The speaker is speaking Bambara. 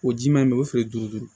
O ji ma ɲi o feere duuru duuru